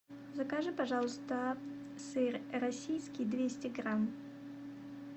закажи пожалуйста сыр российский двести грамм